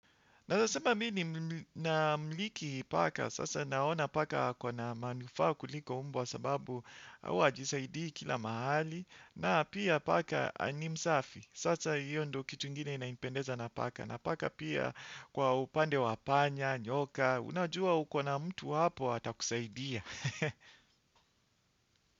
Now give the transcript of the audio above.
Naeza sema mimi nina miliki paka. Sasa naona paka ako na manufaa kuliko mbwa sababu huwa hajisaidii kila mahali. Na pia paka ni msafi. Sasa hiyo ndo kitu ingine inanipendeza na paka. Na paka pia kwa upande wa panya, nyoka. Unajua uko na mtu hapo hata kusaidia.